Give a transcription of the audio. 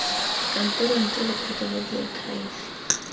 kantorong ke lephata la diakhaefe